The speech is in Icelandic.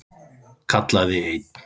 kallaði einn.